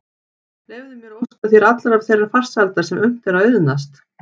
Leyfðu mér að óska þér allrar þeirrar farsældar sem unnt er að auðnast.